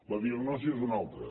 la diagnosi és una altra